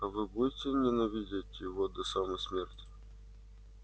а вы будете ненавидеть его до самой смерти